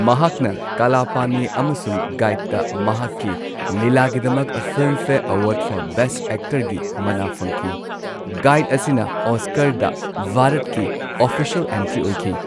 ꯃꯍꯥꯛꯅ ꯀꯥꯂꯥ ꯄꯥꯅꯤ ꯑꯃꯁꯨꯡ ꯒꯥꯏꯗꯇ ꯃꯍꯥꯛꯀꯤ ꯂꯤꯂꯥꯒꯤꯗꯃꯛ ꯐꯤꯜꯝꯐꯦꯌꯔ ꯑꯦꯋꯥꯔꯗ ꯐꯣꯔ ꯕꯦꯁꯠ ꯑꯦꯛꯇꯔꯒꯤ ꯃꯅꯥ ꯐꯪꯈꯤ, ꯒꯥꯢ꯭ꯗ ꯑꯁꯤꯅ ꯑꯣꯁꯀꯥꯔꯗ ꯚꯥꯔꯠꯀꯤ ꯑꯣꯐꯤꯁꯤꯑꯦꯜ ꯑꯦꯟꯇ꯭ꯔꯤ ꯑꯣꯏꯈꯤ꯫